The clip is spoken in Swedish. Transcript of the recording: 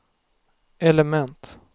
element